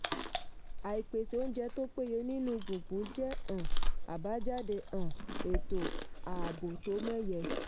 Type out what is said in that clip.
àìpèsè oúnjẹ tó péye nínú gbùngbùn jẹ́ um abajade um ètò ààbò tó mẹ́yẹ.